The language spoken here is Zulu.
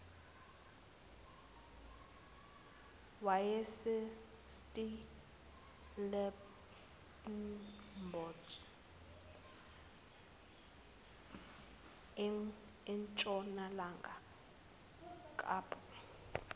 yasestellenbosch entshonalanga kapa